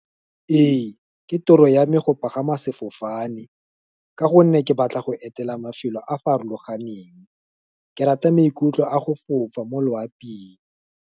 Ee, ke toro ya me, go pagama sefofane, ka gonne ke batla go etela mafelo a a farologaneng, ke rata maikutlo a go fofa mo loaping.